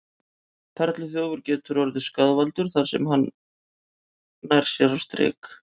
Perluþjófur getur orðið skaðvaldur þar sem hann nær sér á strik.